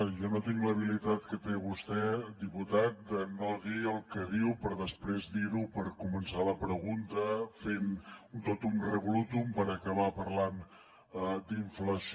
jo no tinc l’habilitat que té vostè diputat de no dir el que diu per després dir ho per començar la pregunta fent un totum revolutum per acabar parlant d’inflació